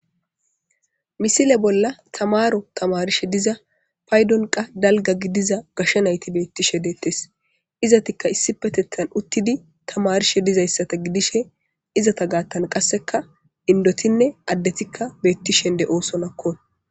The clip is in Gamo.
misile bolla tamaro tamarishe diza paydon qa dalga gidiza gashshe nayti beettishe deettes izatikka issi petethan uttidi tamarishe dizayssata gidishe izata gaattan qasseka indotinne addetikka beettishen de'oosonakkon